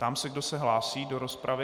Ptám se, kdo se hlásí do rozpravy.